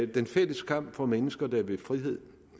den fælles kamp for mennesker der vil frihed